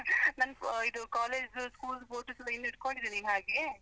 ನಾನ್ ಇದು college ದು school photos, ಈಗ್ಲೂ ಇಟ್ಕೊಂಡಿದ್ದೀ ನೀನು ಹಾಗೆ.